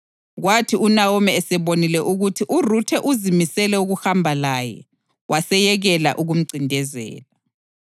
Kwathi uNawomi esebonile ukuthi uRuthe uzimisele ukuhamba laye, waseyekela ukumcindezela.